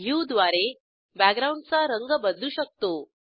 हुए द्वारे बॅकग्राऊंडचा रंग बदलू शकतो